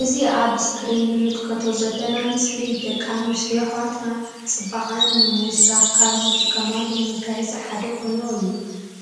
እዚ ኣብ እስክሪን እንምልከቶ ዘለና ምስሊ ደቂ ኣንስትዮ ኣሕዋትና ጽባቅአን ንምውሳክ ካብ ዝጥቀማሉ መጋየጺ ሓደ ቁኖ እዩ